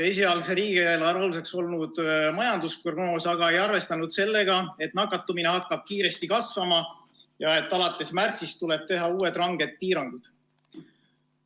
Esialgse riigieelarve aluseks olnud majandusprognoos aga ei arvestanud sellega, et nakatumine hakkab kiiresti kasvama ja alates märtsist tuleb teha uued ranged piirangud.